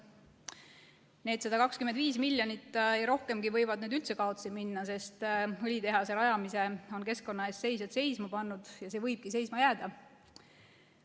Need 125 miljonit ja rohkemgi võivad nüüd üldse kaotsi minna, sest õlitehase rajamise on keskkonna eest seisjad seisma pannud ja see võibki seisma jääda.